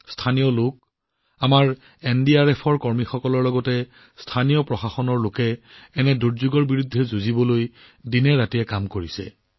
স্থানীয় লোকসকলে আমাৰ এনডিআৰএফ জোৱানসকলে স্থানীয় প্ৰশাসনৰ লোকসকলে দিনেৰাতিয়ে লাগি এই দুৰ্যোগৰ মোকাবিলা কৰিলে